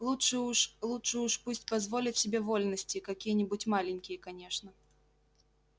лучше уж лучше уж пусть позволит себе вольности какие-нибудь маленькие конечно